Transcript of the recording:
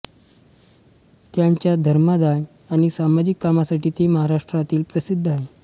त्यांच्या धर्मादाय आणि सामाजिक कामासाठी ते महाराष्ट्रात प्रसिद्ध आहेत